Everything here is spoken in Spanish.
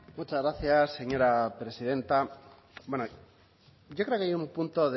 muchas gracias señora presidenta yo creo que hay un punto